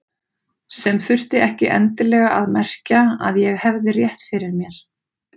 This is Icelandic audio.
Sem þurfti ekki endilega að merkja að ég hefði rétt fyrir mér.